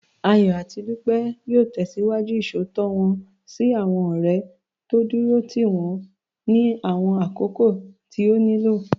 Ayọ̀ àti Dúpẹ́ yóò tẹ̀síwájú Ìṣòótọ́ wọ́n sí àwọn ọ̀rẹ́, dúró lẹba wọn ní àwọn àkókò tí ó nílò